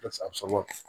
Karisa sama